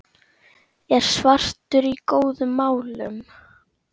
er svartur í góðum málum.